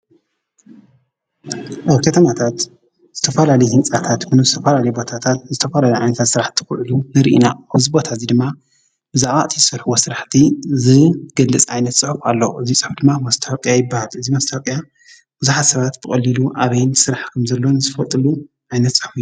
አብ ከተማታት ዝተፈላለዩ ህንፃታት ምስ ዝተፈላለዩ ቦታታት ዝተፈላለዩ ዓይነታተ ስራሕቲ ክህሉ ንርኢ ኢና፡፡ ኣብዚ ቦታ እዚ ድማ ብዛዕባ እቲ ዝሰርሕዎ ስራሕቲ ዝገልፅ ዓይነት ፅሑፍ ኣሎ፡፡ እዚ ፅሑፍ ድማ መስተዋቅያ ይባሃል፡፡ እዚ መስተዋቅያ ቡዙሓት ሰባት ብቀሊሉ ኣበይ ስራሕ ከም ዘሎ ዝፈልጥሉን ዓይነት ፅሑፍ እዩ፡፡